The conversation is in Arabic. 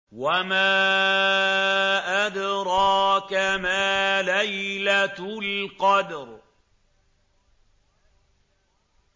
وَمَا أَدْرَاكَ مَا لَيْلَةُ الْقَدْرِ